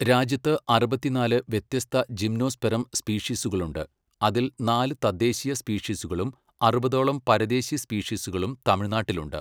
രാജ്യത്ത് അറുപത്തിനാല് വ്യത്യസ്ത ജിംനോസ്പെറം സ്പീഷീസുകളുണ്ട്, അതിൽ നാല് തദ്ദേശീയ സ്പീഷീസുകളും അറുപതോളം പരദേശി സ്പീഷീസുകളും തമിഴ്നാട്ടിലുണ്ട്.